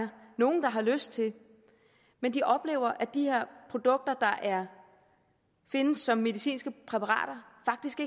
nogen der har lyst til men de oplever at de her produkter der findes som medicinske præparater faktisk